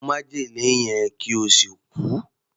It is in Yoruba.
Mu májèlé yẹn kí o sì kú!